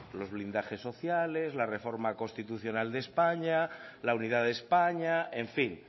los blindajes sociales la reforma constitucional de españa la unidad de españa en fin